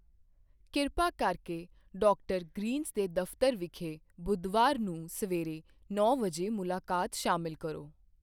ਕਿਰਪਾ ਕਰਕੇ doctor Greens ਦੇ ਦਫ਼ਤਰ ਵਿਖੇ ਬੁੱਧਵਾਰ ਨੂੰ ਸਵੇਰੇ ਨੌਂ ਵਜੇ ਮੁਲਾਕਾਤ ਸ਼ਾਮਿਲ ਕਰੋ।